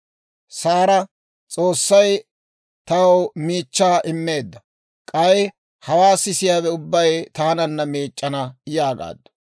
Saara, «S'oossay taw miichchaa immeedda; k'ay hawaa sisiyaawe ubbay taananna miic'c'ana» yaagaaddu.